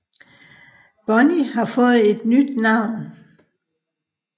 Bonney har fået et nyt navn